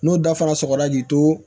N'o dafara sɔgɔra k'i to